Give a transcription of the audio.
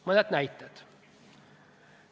Mõned näited.